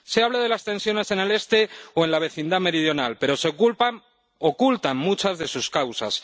Se habla de las tensiones en el Este o en la vecindad meridional, pero se ocultan muchas de sus causas.